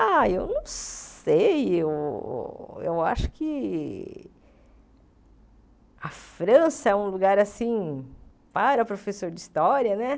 Ah, eu não sei, eu eu acho que a França é um lugar, assim, para professor de história, né?